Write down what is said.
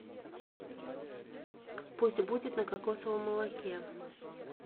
пусть будет на кокосовом молоке